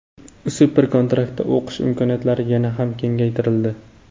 Super-kontraktda o‘qish imkoniyatlari yana ham kengaytirildi.